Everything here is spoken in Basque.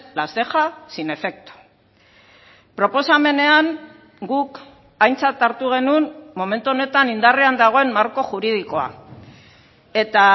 las deja sin efecto proposamenean guk aintzat hartu genuen momentu honetan indarrean dagoen marko juridikoa eta